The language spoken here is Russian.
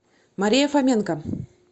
мария фоменко